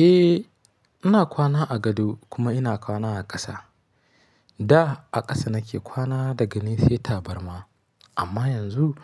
Eh, ina kwana a gado kuma ina kwana a ƙasa. Da a ƙasa na ke kwana da gani sai tabarma. Amma yanzu